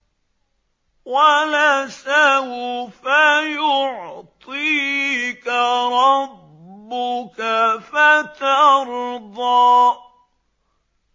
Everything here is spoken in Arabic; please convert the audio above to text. وَلَسَوْفَ يُعْطِيكَ رَبُّكَ فَتَرْضَىٰ